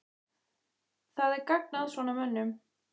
Það er gagn að svona mönnum.